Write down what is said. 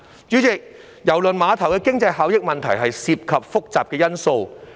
主席，郵輪碼頭的經濟效益問題涉及複雜的因素。